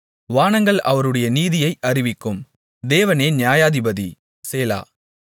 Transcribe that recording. வானங்கள் அவருடைய நீதியை அறிவிக்கும் தேவனே நியாயாதிபதி சேலா